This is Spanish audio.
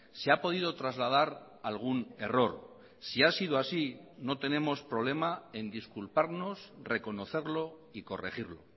se ha podido trasladar algún error si ha sido así no tenemos problema en disculparnos reconocerlo y corregirlo